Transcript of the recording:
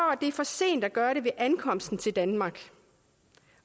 er for sent at gøre det ved ankomsten til danmark